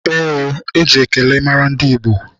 Ee, eji ekele mara ndị Igbo.